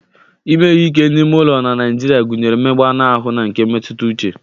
Ime ihe ike n'ime ụlọ na Naịjirịa gụnyere mmegbu anụ ahụ na nke mmetụta uche.